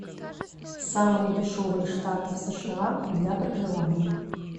самые дешевые штаты в сша для проживания